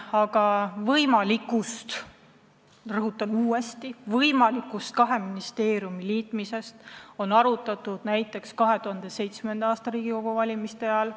Aga võimalust – ma rõhutan uuesti, võimalust – kaks ministeeriumi liita on arutatud näiteks 2007. aasta Riigikogu valimiste ajal.